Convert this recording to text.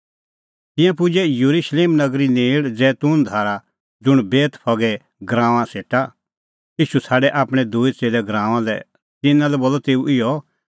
तिंयां पुजै येरुशलेम नगरी नेल़ जैतून धारा ज़ुंण बेतफगे गराऊंआं सेटा ईशू छ़ाडै आपणैं दूई च़ेल्लै गराऊंआं लै तिन्नां लै बोलअ तेऊ इहअ